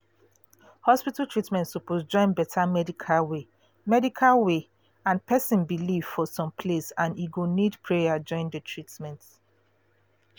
hospital treatment suppose join better medical way medical way and person belief for some place and e go need prayer join the treatment